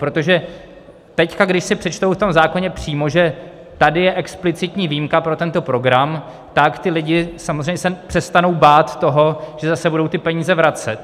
Protože teď, když si přečtou v tom zákoně přímo, že tady je explicitní výjimka pro tento program, tak ti lidé samozřejmě se přestanou bát toho, že zase budou ty peníze vracet.